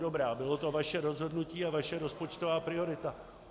Dobrá, bylo to vaše rozhodnutí a vaše rozpočtová priorita.